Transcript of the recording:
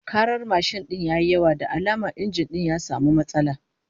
Karar mashin din ya yi yawa, da alama injin ya samu matsala